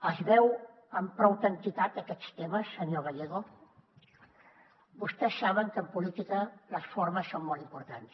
els veu amb prou entitat aquests temes senyor gallego vostès saben que en política les formes són molt importants